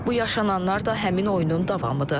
Bu yaşananlar da həmin oyunun davamıdır.